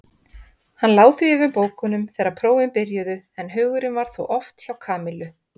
Hann lá því yfir bókunum þegar prófin byrjuðu en hugurinn var þó oft hjá Kamillu.